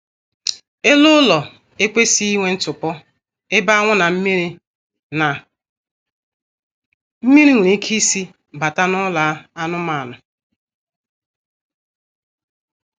Elu ụlọ ekwesịghị inwe ntupu ebe anwụ na mmiri na mmiri nwere ike isi bata n'ụlọ anụmaanụ